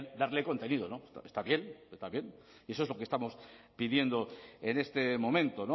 darle contenido está bien y eso es lo que estamos pidiendo en este momento